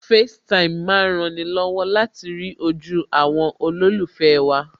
FaceTime má ń rani lọ́wọ́ láti rí ojú àwọn olólùfẹ́ wa